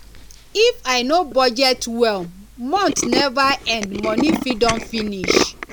if i no budget well month never end money fit don finish